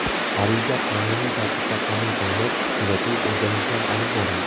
Ariza qonuniy tartibda qabul qilinib, kuzatuv-o‘rganishlar olib borildi.